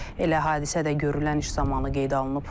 Elə hadisə də görülən iş zamanı qeydə alınıb.